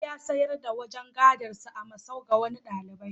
Ali ya sayar da wajen gadonsa a masau ga wani ɗalibai.